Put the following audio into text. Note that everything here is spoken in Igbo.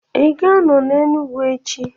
Ị ga-anọ n'Enugwu echi?